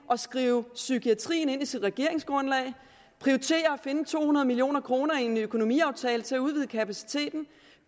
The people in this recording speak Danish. at skrive psykiatrien ind i sit regeringsgrundlag prioriterer at finde to hundrede million kroner i en økonomiaftale til at udvide kapaciteten